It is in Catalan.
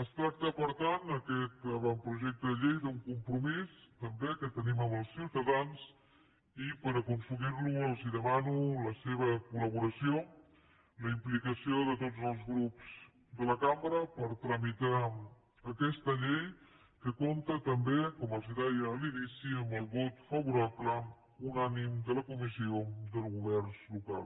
es tracta per tant aquest avantprojecte de llei d’un compromís també que tenim amb els ciutadans i per aconseguir lo els demano la seva col·plicació de tots els grups de la cambra per tramitar aquesta llei que compta també com els deia a l’inici amb el vot favorable unànime de la comissió de govern local